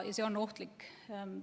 Ja see on ohtlik.